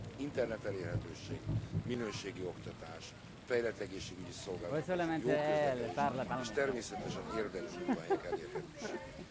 Internet elérhetőség, minőségi oktatás, fejlett egészségügyi szolgáltatások, jó közlekedés és természetesen érdemi munkahelyek elérhetősége.